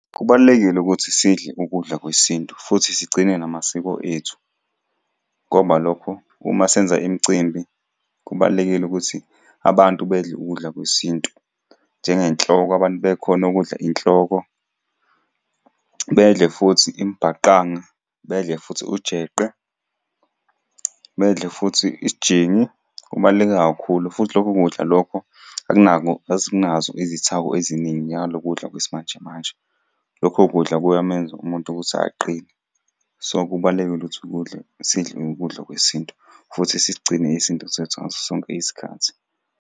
Kubalulekile ukuthi sidle ukudla kwesintu futhi sigcine namasiko ethu, ngoba lokho uma senza imicimbi kubalulekile ukuthi abantu bedle ukudla kwesintu. Njengenhloko, abantu bekhone ukudla inhloko, bedle futhi imbhaqanga, bedle futhi ujeqe, bedle futhi isijingi. Kubaluleke kakhulu, futhi lokho kudla lokho akunako asinazo izithako eziningi njengalokhu ukudla kwesimanje manje. Lokho kudla kuyamenza umuntu ukuthi aqine. So, kubalulekile ukuthi ukudla, sidle ukudla kwesintu, futhi sisigcine isintu sethu ngaso sonke isikhathi.